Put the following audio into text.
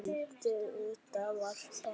Þetta var bara fugl!